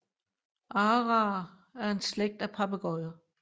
Araer er en slægt af papegøjer